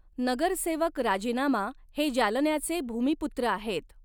नगरसेवक राजीनामा हे जालन्याचे भूमी पुत्र आहेत.